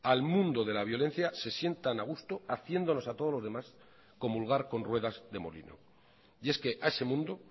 al mundo de la violencia se sientan a gusto haciéndonos a todos los demás comulgar con ruedas de molino y es que a ese mundo